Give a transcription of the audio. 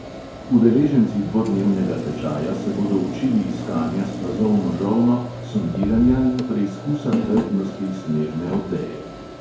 Udeleženci dvodnevnega tečaja se bodo učili iskanja s plazovno žolno, sondiranja in preizkusa trdnosti snežne odeje.